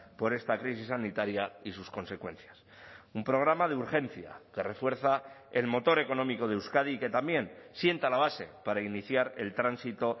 por esta crisis sanitaria y sus consecuencias un programa de urgencia que refuerza el motor económico de euskadi y que también sienta la base para iniciar el tránsito